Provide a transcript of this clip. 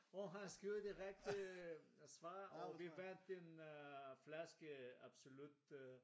Og han skriver det rigtige øh svar og vi vandt en øh flaske Absolut øh